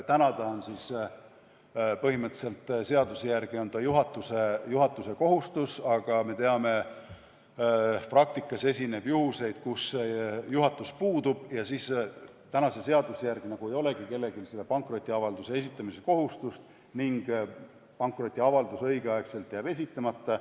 Praegu on see seaduse järgi põhimõtteliselt juhatuse kohustus, aga me teame, et praktikas esineb juhuseid, kus juhatus puudub, ja siis seaduse järgi nagu ei olegi kellelgi seda pankrotiavalduse esitamise kohustust ning pankrotiavaldus jääb õigel ajal esitamata.